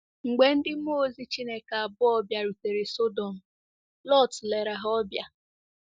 Mgbe ndị mmụọ ozi Chineke abụọ bịarutere Sọdọm, Lọt lere ha ọbịa.